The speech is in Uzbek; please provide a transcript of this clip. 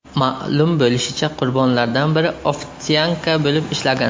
Ma’lum bo‘lishicha, qurbonlardan biri ofitsiantka bo‘lib ishlagan.